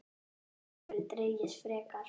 Það gæti jafnvel dregist frekar.